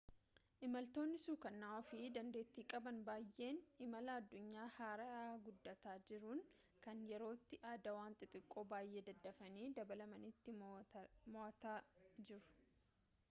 imaltoonni sukana'oo fi dandeettii qaban baayyeen imala addunyaa haaarayaa guddataa jiruun kan yerootti aadaawwan xixiqqoo baayyeen daddafanii dabalamaniitiin mo'ataa jiru